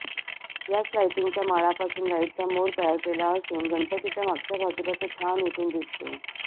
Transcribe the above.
याच लायटिंगच्या माळांपासून लाइटचा मोर तयार केला असून गणपतीच्या मागच्या बाजूला तो छान उठून दिसतो